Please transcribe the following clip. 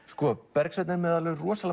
Bergsveinn er með